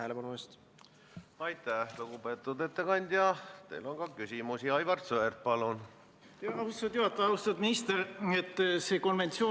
Selle üle võib vaielda, võib hinnata, kas erandite edasi kehtimine on õigustatud või mitte, on otstarbekas või mitte, aga ma valgustan asja natukene teise kandi pealt.